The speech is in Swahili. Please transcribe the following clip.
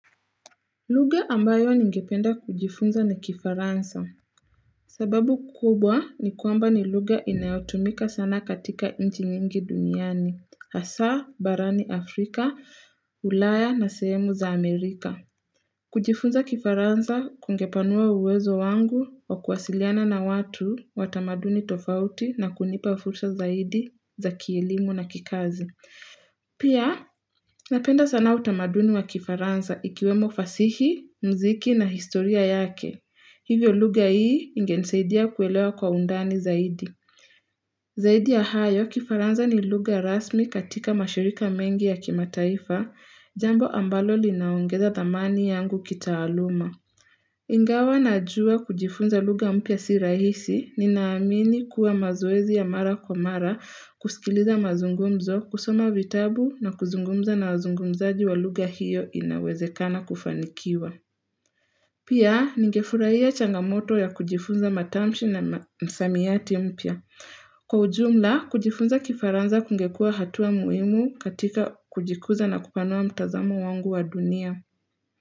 Lugha ambayo ningependa kujifunza ni kifaransa. Sababu kubwa ni kwamba ni lugha inayotumika sana katika nchi nyingi duniani. Hasa, barani Afrika, ulaya na sehemu za Amerika. Kujifunza kifaransa kungepanua uwezo wangu wa kuwasiliana na watu wa tamaduni tofauti na kunipa fursa zaidi za kielimu na kikazi. Pia, napenda sana utamaduni wa kifaransa ikiwemo fasihi, mziki na historia yake. Hivyo lugha hii ingenisaidia kuelewa kwa undani zaidi. Zaidi ya hayo, kifaransa ni lugha rasmi katika mashirika mengi ya kimataifa, jambo ambalo linaongeza dhamani yangu kitaaluma. Ingawa najua kujifunza lugha mpya si rahisi, ninaamini kuwa mazoezi ya mara kwa mara, kusikiliza mazungumzo, kusoma vitabu na kuzungumza na wazungumzaji wa lugha hiyo inawezekana kufanikiwa. Pia, nigefurahia changamoto ya kujifunza matamshi na msamiati mpya. Kwa ujumla, kujifunza kifaransa kungekua hatua muhimu katika kujikuza na kupanua mtazamo wangu wa dunia.